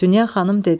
Dünya xanım dedi: